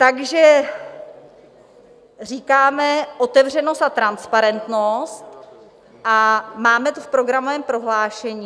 Takže říkáme otevřenost a transparentnost a máme to v programovém prohlášení.